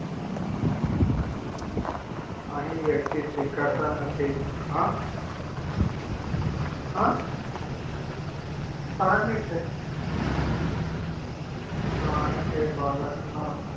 અહી વ્યક્તિ સ્વીકારતા નથી હા હા પાંચ મિનીટ થઇ પ્રાણી કે બાળક નાં